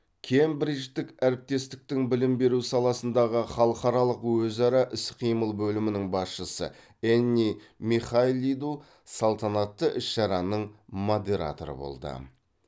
кембридждік әріптестіктің білім беру саласындағы халықаралық өзара іс қимыл бөлімінің басшысы энни михайлиду салтанатты іс шараның модераторы болды